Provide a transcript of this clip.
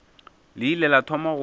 le ile la thoma go